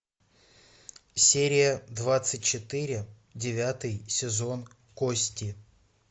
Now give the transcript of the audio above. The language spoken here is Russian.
серия двадцать четыре девятый сезон кости